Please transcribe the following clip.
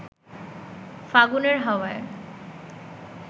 ফাগুনের হাওয়ায়